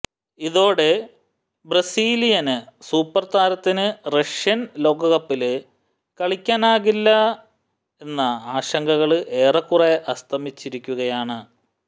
ഇതോടെ Brazilian super താരത്തിന് Russian ലോകകപ്പില് കളിക്കാനാകില്ലെന്ന ആശങ്കകള് ഏറെക്കുറെ അസ്തമിച്ചിരുക്കുകയാണ്